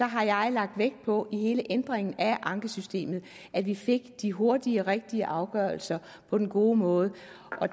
har jeg lagt vægt på i hele ændringen af ankesystemet at vi fik de hurtige og rigtige afgørelser på den gode måde